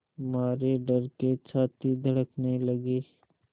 मारे डर के छाती धड़कने लगी